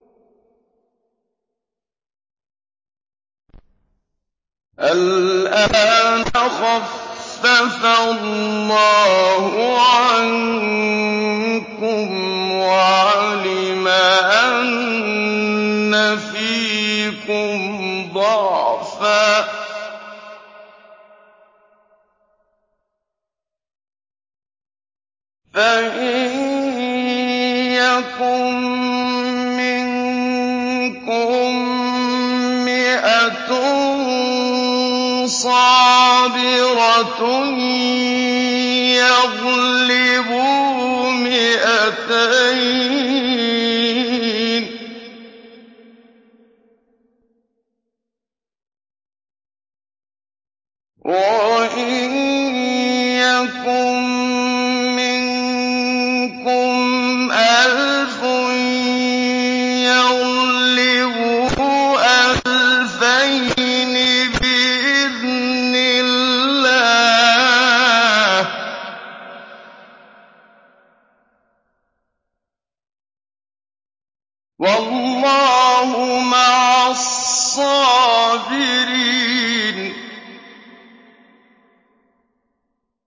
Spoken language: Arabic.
الْآنَ خَفَّفَ اللَّهُ عَنكُمْ وَعَلِمَ أَنَّ فِيكُمْ ضَعْفًا ۚ فَإِن يَكُن مِّنكُم مِّائَةٌ صَابِرَةٌ يَغْلِبُوا مِائَتَيْنِ ۚ وَإِن يَكُن مِّنكُمْ أَلْفٌ يَغْلِبُوا أَلْفَيْنِ بِإِذْنِ اللَّهِ ۗ وَاللَّهُ مَعَ الصَّابِرِينَ